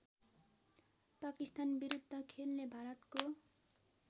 पाकिस्तानविरुद्ध खेल्ने भारतको